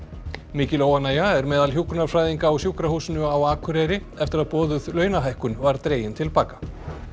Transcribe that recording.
mikil óánægja er meðal hjúkrunarfræðinga á Sjúkrahúsinu á Akureyri eftir að boðuð launahækkun var dregin til baka